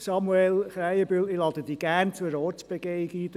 Samuel Krähenbühl, ich lade Sie gerne zu einer Ortsbegehung ein.